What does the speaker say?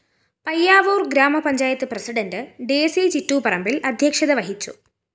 പയ്യാവൂര്‍ ഗ്രാമപഞ്ചായത്ത് പ്രസിഡന്റ് ഡെയ്സി ചിറ്റൂപ്പറമ്പില്‍ അധ്യക്ഷത വഹിച്ചു